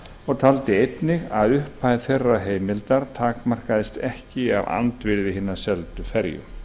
og taldi einnig að upphæð þeirrar heimildar takmarkaðist ekki af andvirði hinnar seldu ferju